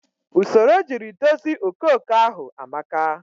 Usoro ojiri dozi okooko ahụ amaka